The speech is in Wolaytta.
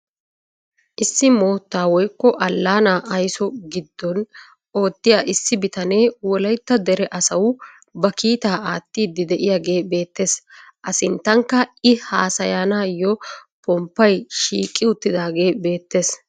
Issi moottaa woykko allaanaa aysso giddon oottiyaa issi bitanee wollaytta dere asawu ba kiitaa aattiidi de'iyaagee beettees. a sinttankka i haasanayoo pomppay shiiqi uttaagee beettees.